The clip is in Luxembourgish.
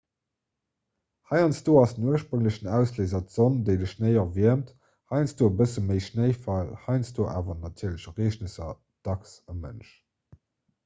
heiansdo ass den ursprénglechen ausléiser d'sonn déi de schnéi erwiermt heiansdo e bësse méi schnéifall heiansdo aner natierlech ereegnesser dacks e mënsch